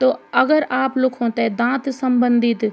तो अगर आप लुखु ते दांत सम्बंधित ।